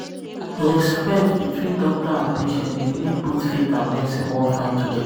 respect between doctor and um patient dey make both faith and medicine work fine um together. um